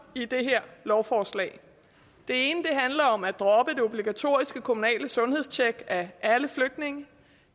i det her lovforslag det ene handler om at droppe det obligatoriske kommunale sundhedstjek af alle flygtninge